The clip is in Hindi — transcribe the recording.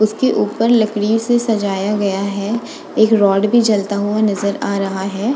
उसके ऊपर लकड़ी से सजाया गया है। एक रॉड भी जलता हुआ नजर आ रहा है।